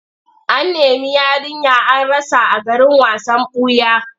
An nemi yarinya an rasa a garin wasan ɓuya.